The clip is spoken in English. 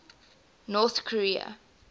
north korea